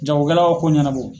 Jagokɛlaw ko ɲɛnabɔ.